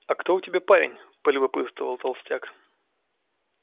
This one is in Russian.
а кто у тебя парень полюбопытствовал толстяк